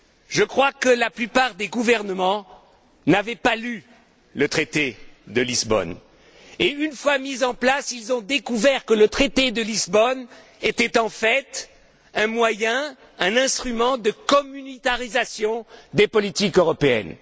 Je crois que la plupart des gouvernements ne l'avaient pas lu et, une fois mis en place, ils ont découvert que le traité de Lisbonne était en fait un moyen, un instrument de communautarisation des politiques européennes.